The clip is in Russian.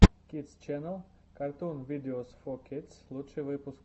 кидс ченнел картун видеос фор кидс лучший выпуск